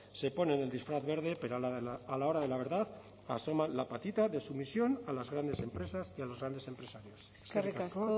se ponen el disfraz verde pero a la hora de la verdad asoman la patita de sumisión a las grandes empresas y a los grandes empresarios eskerrik asko